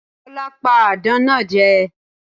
Tólá pa àdán náa je